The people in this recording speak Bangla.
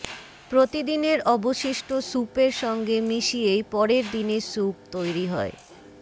প্রতিদিনের অবশিষ্ট স্যুপের সঙ্গে মিশিয়েই পরের দিনের স্যুপ তৈরি হয়